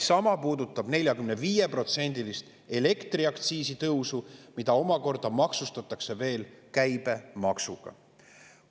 Sama puudutab 45%‑list elektriaktsiisi tõusu, mida omakorda maksustatakse veel käibemaksuga.